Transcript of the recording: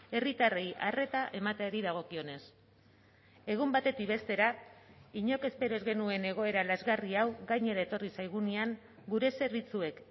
herritarrei arreta emateari dagokionez egun batetik bestera inork espero ez genuen egoera lazgarri hau gainera etorri zaigunean gure zerbitzuek